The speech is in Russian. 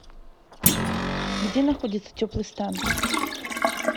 где находится теплый стан